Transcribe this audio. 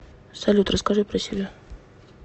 салют расскажи про себя